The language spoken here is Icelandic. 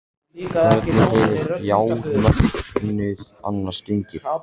Hvernig hefur fjármögnun annars gengið?